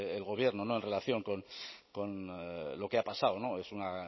el gobierno en relación con lo que ha pasado es una